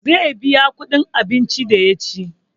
Zai biya kuɗin abinci da ya ci